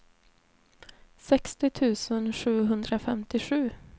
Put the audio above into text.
sextio tusen sjuhundrafemtiosju